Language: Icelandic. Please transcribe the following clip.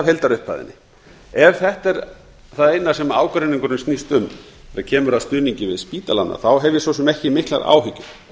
heildarupphæðinni ef þetta er það eina sem ágreiningurinn snýst um þegar kemur að stuðningi við spítalana hef ég svo sem ekki miklar áhyggjur